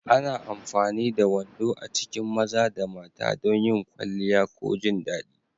Ana amfani da wando a cikin maza da mata don yin kwalliya ko jin daɗi.